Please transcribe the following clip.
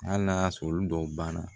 Hali n'a y'a sɔrɔ olu dɔw ban na